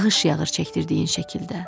Yağış yağır çəkdirdiyin şəkildə.